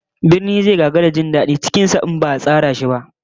Birni zai gagara jin dadi cikin sa in ba'a tsara shi ba